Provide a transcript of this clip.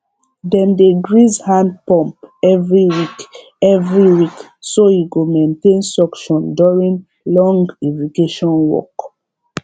dem dey grease hand pump every week every week so e go maintain suction during long irrigation work